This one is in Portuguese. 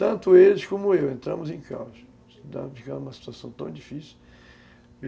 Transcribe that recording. Tanto eles como eu entramos em caos, digamos, ficamos em uma situação tão difícil.